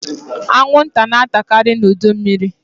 Anwụnta na-atakaari n'udu mmịrị.